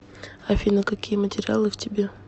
афина какие материалы в тебе